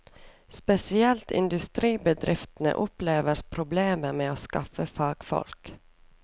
Spesielt industribedriftene opplever problemer med å skaffe fagfolk.